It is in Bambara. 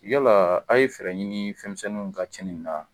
Yalaa a' ye fɛɛrɛ ɲinii fɛn misɛnninw ka tiɲɛ na?